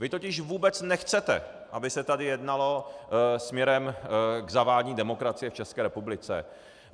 Vy totiž vůbec nechcete, aby se tady jednalo směrem k zavádění demokracie v České republice.